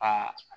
Aa